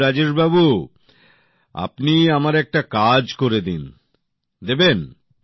কিন্তু দেখুন রাজেশবাবু আপনি আমার একটা কাজ করে দিন দেবেন